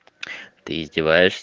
ты издеваешьс